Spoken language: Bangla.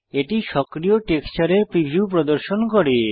এটি সক্রিয় টেক্সচারের প্রিভিউ প্রদর্শন করে